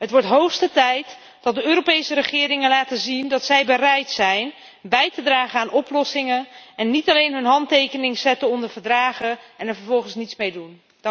Het wordt de hoogste tijd dat de Europese regeringen laten zien dat zij bereid zijn bij te dragen aan oplossingen en niet alleen hun handtekening zetten onder verdragen en er vervolgens niets mee doen.